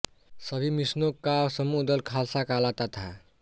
सभी मिसलों का समूह दल खालसा कहलाता था